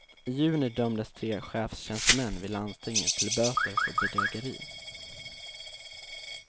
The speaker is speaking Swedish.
I juni dömdes tre chefstjänstemän vid landstinget till böter för bedrägeri.